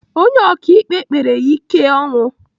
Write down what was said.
Onye ọkaikpe kpere ya ike ọnwụ.